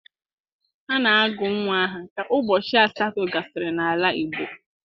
A na-agụ nnwa aha ka ụbọchị asatọ gasịrị n'ala Igbo.